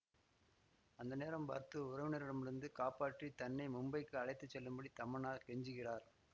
அந்த நேரம் பார்த்து உறவினரிடமிருந்து காப்பாற்றி தன்னை மும்பைக்கு அழைத்து செல்லும்படி தமன்னா கெஞ்சுகிறார்